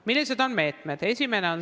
Millised on meetmed?